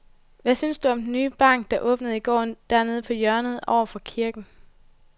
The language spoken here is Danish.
Hvad synes du om den nye bank, der åbnede i går dernede på hjørnet over for kirken?